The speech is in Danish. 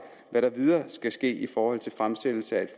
hvad der videre skal ske i forhold til fremsættelse af